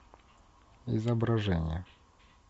изображение